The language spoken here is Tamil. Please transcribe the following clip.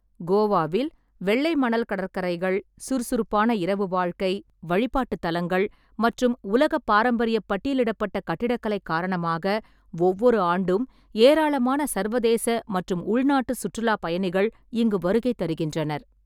கோவாவில் வெள்ளைமணல் கடற்கரைகள், சுறுசுறுப்பான இரவு வாழ்க்கை, வழிபாட்டுத் தலங்கள் மற்றும் உலக பாரம்பரியப் பட்டியலிடப்பட்ட கட்டிடக்கலை காரணமாக ஒவ்வொரு ஆண்டும் ஏராளமான சர்வதேச மற்றும் உள்நாட்டு சுற்றுலாப் பயணிகள் இங்கு வருகை தருகின்றனர்.